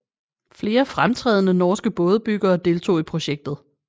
Flere fremtrædende norske bådebyggere deltog i projektet